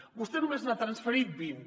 vostè només n’ha transferit vint